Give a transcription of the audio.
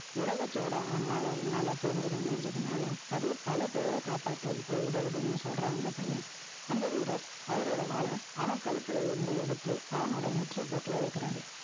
உலகச்சோட ஆன்மாவை, என்னால புரிஞ்சுக்க முடிஞ்சதுனால, அது, பல பேரை காப்பாத்த, இப்ப உதவுதுன்னு சொல்றான், அந்த பையன். அந்த வீரர், அவரோட வாலை, அவன் கழுத்துல இருந்து எடுத்து, அவனோட நெற்றி பொட்டுல வைக்கிறாரு.